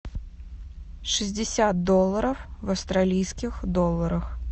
шестьдесят долларов в австралийских долларах